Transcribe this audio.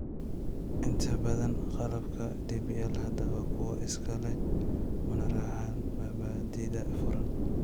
Inta badan qalabka DPL hadda waa kuwo iska leh mana raacaan mabaadi'da furan.